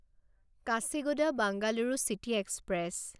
Kacheguda Bengaluru city express